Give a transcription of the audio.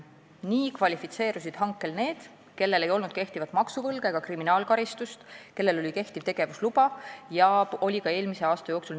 Nii kvalifitseerusid hankele need, kellel ei olnud kehtivat maksuvõlga ega kriminaalkaristust, kellel oli kehtiv tegevusluba ja ka netokäive eelmise aasta jooksul.